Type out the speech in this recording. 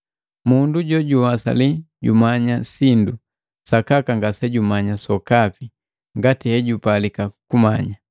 Mundu jojuwasali jumanya sindu, sakaka ngasejumanya sokapi ngati hejupalika kumanya.